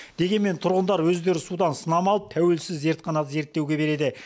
дегенмен тұрғындар өздері судан сынама алып тәуелсіз зертханада зерттеуге береді